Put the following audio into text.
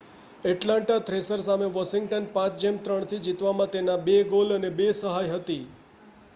Atlanta Thrasher સામે વોશિંગ્ટનની 5-3 થી જીતમાં તેના 2 ગોલ અને 2 સહાય હતી